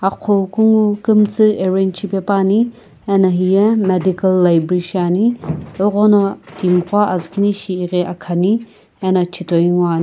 agho kungu kiimtsii arrange shipaepane ana heye medical library shiane eghono timi ko azukinishi akhani --